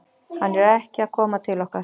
Hann er ekki að koma til okkar.